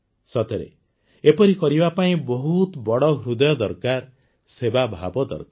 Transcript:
ସତରେ ଏପରି କରିବା ପାଇଁ ବହୁତ ବଡ଼ ହୃଦୟ ଦରକାର ସେବାଭାବ ଦରକାର